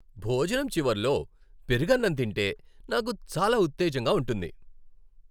భోజనం చివర్లో పెరుగన్నం తింటే నాకు చాలా ఉత్తేజంగా ఉంటుంది.